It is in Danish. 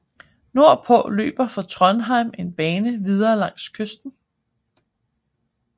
Nordpå løber fra Trondhjem en bane videre langs kysten